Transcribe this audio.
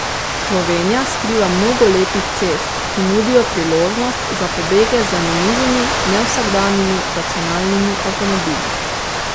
Slovenija skriva mnogo lepih cest, ki nudijo priložnost za pobege z zanimivimi, nevsakdanjimi racionalnimi avtomobili.